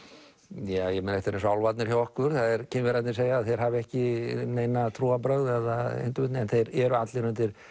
ég meina þetta er eins og álfarnir hjá okkur Kínverjarnir segja að þeir hafi ekki nein trúarbrögð eða hindurvitni en þeir eru allir